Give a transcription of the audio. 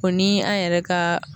O ni an yɛrɛ ka